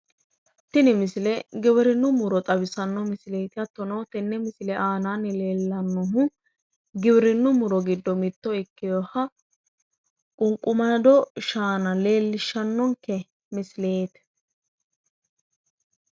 Tini misile giwirinnu muroti giwirinnu giddono ququmado shaana ikkinohati leelishanni noonkehu